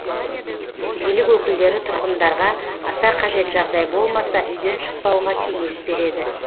билік өкілдері тұрғындарға аса қажет жағдай болмаса үйден шықпауға кеңес береді